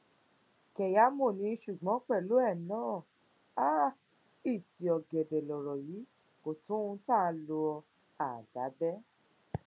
kẹyàmọ ní ṣùgbọn pẹlú ẹ náà um ìtì ọgẹdẹ lọrọ yìí kò tó ohùn áà lọ àdá bẹ um